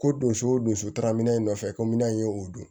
Ko donso o don so taara minɛ nɔfɛ kominan in ye o don